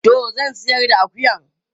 Toh zan ciyar da akuyan.